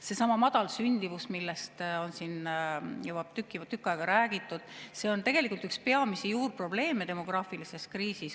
Seesama madal sündimus, millest on siin juba tükk aega räägitud, on tegelikult üks peamisi demograafilise kriisi juurprobleeme.